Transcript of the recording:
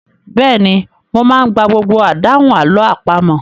Bẹ́ẹ̀ni, mo máa ń gba gbogbo àdáhùn àlọ́ àpamọ̀.